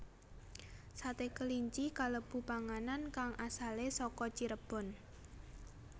Sate kelinci kalebu panganan kang asalé saka Cirebon